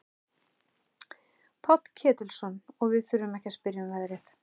Páll Ketilsson: Og við þurfum ekki að spyrja um verðið?